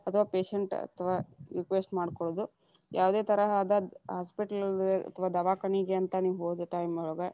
ಅಥವಾ patient ಅಥವಾ request ಮಾಡ್ಕೊಳ್ಳೊದು, ಯಾವದೇ ತರಹದ hospital ಗೆ ಅಥವಾ ದವಾಕನಿಗೆ ಅಂತ ನೀವ್‌ ಹೋದ time ಒಳಗ.